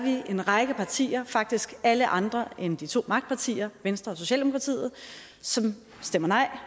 en række partier faktisk alle andre end de to magtpartier venstre og socialdemokratiet som stemmer nej